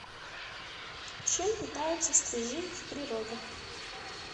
чем питаются стрижи в природе